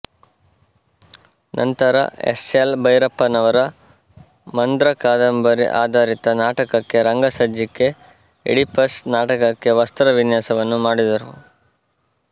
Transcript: ನಂತರ S L ಭೈರಪ್ಪನವರ ಮಂದ್ರ ಕಾದಂಬರಿ ಆಧಾರಿತ ನಾಟಕಕ್ಕೆ ರಂಗ ಸಜ್ಜಿಕೆ ಈಡಿಪಸ್ ನಾಟಕಕ್ಕೆ ವಸ್ತ್ರ ವಿನ್ಯಾಸವನ್ನು ಮಾಡಿದರು